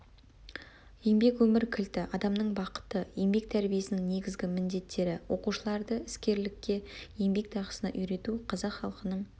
еңбек өмір кілті адамның бақыты еңбек тәрбиесінің негізгі міндеттері оқушыларды іскерлікке еңбек дағдысына үйрету қазақ халқының